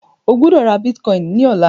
O gbódò rà Bitcoin ní ọlá!